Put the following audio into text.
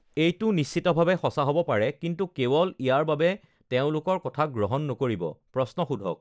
এইটো নিশ্চিতভাৱে সঁচা হ'ব পাৰে, কিন্তু কেৱল ইয়াৰ বাবে তেওঁলোকৰ কথাক গ্ৰহণ নকৰিব- প্ৰশ্ন সোধক!